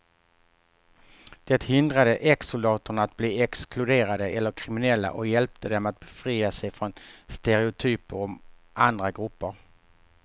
Det hindrade exsoldaterna att bli exkluderade eller kriminella och hjälpte dem att befria sig från stereotyper om andra grupper.